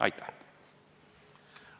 Aitäh!